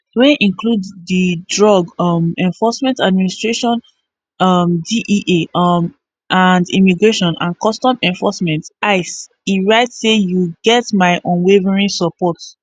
wey include di drug um enforcement administration dea um and immigration and customs enforcement ice e write say you get my unwavering support